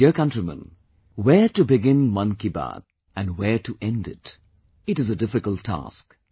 My dear countrymen, where to begin 'Mann Ki Baat' and where to end it, is a difficult task